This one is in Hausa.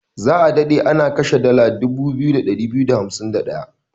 Za a dade ana kashe dala 2251.